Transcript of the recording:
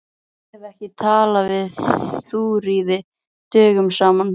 Ég hef ekki talað við Þuríði dögum saman.